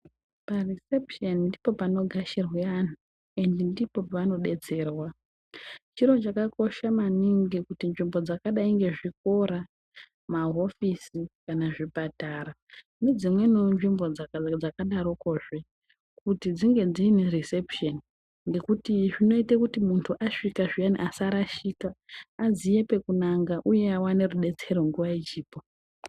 Parisepusheni ndipo panogashirwa vanthu ende ndipoi pavanodetserwa chiro chakakosha maningi nzvimbo dzakadai ngezvikora, mahofisi, zvipatara nedzimweniwo nzvimbo dzakadaroko kuti dzinge dziine risepusheni ngekuti zvinoite kuti munthu asvika zviyani asarashika aziye pekunanga uye awane rubatsiro nguwa ichipo.